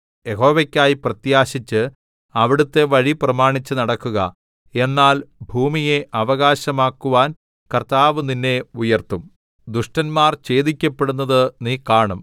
യഹോവയ്ക്കായി പ്രത്യാശിച്ച് അവിടുത്തെ വഴി പ്രമാണിച്ച് നടക്കുക എന്നാൽ ഭൂമിയെ അവകാശമാക്കുവാൻ കർത്താവ് നിന്നെ ഉയർത്തും ദുഷ്ടന്മാർ ഛേദിക്കപ്പെടുന്നത് നീ കാണും